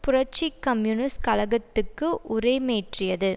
புரட்சி கம்யூனிஸ்ட் கழகத்துக்கு உரமேற்றியது